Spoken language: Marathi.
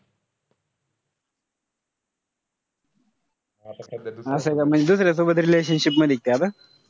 असय का म्हणजे दुसऱ्या सोबत relationship मधीय का आता?